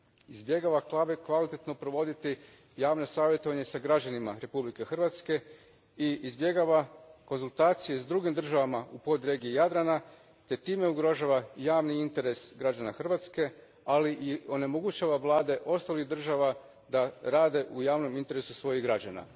Izbjegavaju kvalitetno provoditi javno savjetovanje s građanima Republike Hrvatske i izbjegavaju konzultacije s drugim državama u podregiji Jadrana te time ugrožavaju javni interes građana Hrvatske, ali i onemogućuju vlade ostalih država da rade u javnom interesu svojih građana.